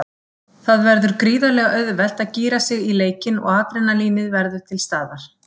Það verður gríðarlega auðvelt að gíra sig í leikinn og adrenalínið verður til staðar.